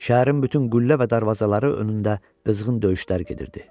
Şəhərin bütün qüllə və darvazaları önündə qızğın döyüşlər gedirdi.